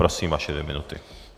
Prosím, vaše dvě minuty.